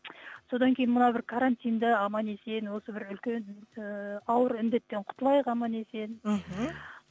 содан кейін мынау бір карантинді аман есен осы бір үлкен ііі ауыр індеттен құтылайық аман есен мхм